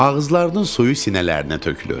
Ağızlarının suyu sinələrinə tökülür.